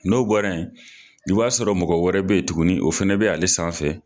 N'o bɔra in, i b'a sɔrɔ mɔgɔ wɛrɛ bɛ yen tugunni o fɛnɛ bɛ ale sanfɛ.